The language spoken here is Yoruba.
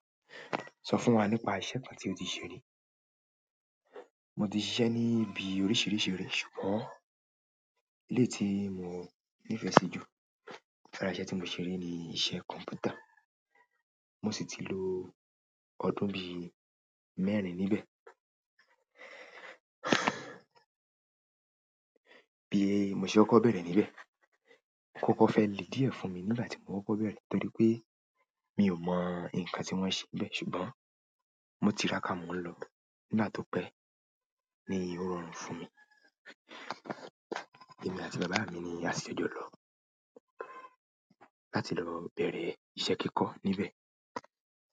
Sọ fún wa nípa iṣẹ́ kan tí o ti ṣe rí. Mo ti ṣiṣẹ ni ibi oríṣiríṣi ire, ṣùgbọ́n eleyi tí mo nífẹsí jù lára iṣẹ́ tí mo ṣe rí ni iṣẹ́ kọ̀m̀pútà. Mo sì ti lo ọdún bí mẹ́rin níbẹ̀. Bí mo ṣe kọ́kọ̀ bẹ̀rẹ̀ níbẹ̀, okokọ́ fẹ́ le díẹ̀ fún mi nígbàtí mo kokọ̀ bẹ̀rẹ̀ torí pé mi ò mọ ǹkan tí wọ́n n ṣe níbẹ̀, ṣùgbọ́n mo tiràká mo ń lọ nígbà tó pé ní ó rọrùn fún mi. Èmi àti bàbá mi ni a ṣi jọjo lọ láti lọ bẹ̀rẹ̀ ìṣe kíkọ́ níbẹ̀.